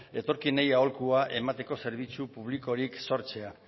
etorkinei aholkua emateko zerbitzu publikorik sortzea